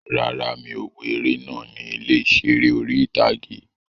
Rárá, mi ò wo eré náà ní ilé ìseré orí-ìtágé